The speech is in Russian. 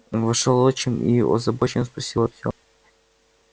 вошёл отчим и озабоченно спросил артём